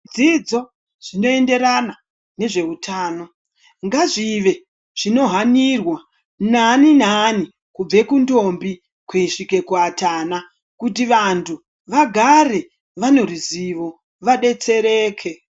Zvidzidz zvinoenderana nezveutano ngazvive zvinohanirwa naani naani kubve kuntombi kusvika kuatana kuti vantu vagare vaneruzivo vadetsereke.